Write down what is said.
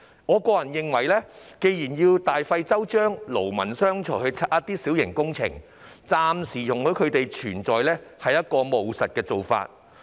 我認為既然要大費周章，勞民傷財地拆卸一些小型設施，暫時容許它們存在是務實的做法。